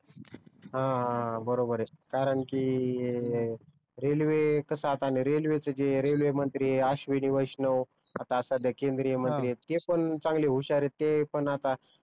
ह बरोबर आहे कारण कि रेल्वे कसा आणि आता रेल्वे च जे रेल्वे मंत्री अश्विनी वैष्णव आता सध्या केंद्रीय मंत्री आहेत ते पण चांगले हुश्यार आहेत ते पण आता